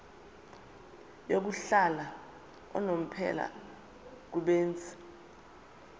yokuhlala unomphela kubenzi